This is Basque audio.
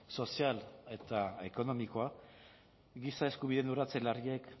sozial eta ekonomikoa giza eskubideen urratze larriek